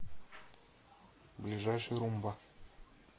ближайший румба